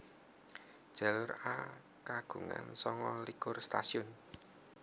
Jalur A kagungan sanga likur stasiun